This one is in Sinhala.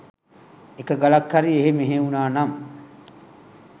එක ගලක් හරි එහෙ මෙහෙ වුනා නම්